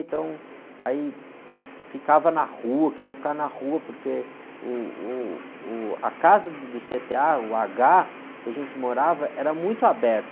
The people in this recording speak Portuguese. Então, aí, ficava na rua, queria ficar na rua, porque, uh, uh, uh, a casa do cê-tê-a, o agá, que a gente morava, era muito aberto.